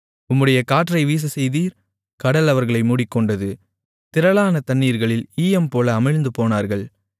உம்முடைய காற்றை வீசச்செய்தீர் கடல் அவர்களை மூடிக்கொண்டது திரளான தண்ணீர்களில் ஈயம்போல அமிழ்ந்துபோனார்கள்